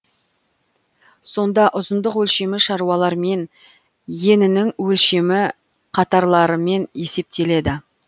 сонда ұзындық өлшемі шалулармен енінің өлшемі қатарлармен есептеледі